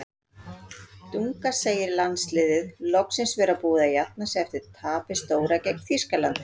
Dunga segir landsliðið loksins vera búið að jafna sig eftir tapið stóra gegn Þýskalandi.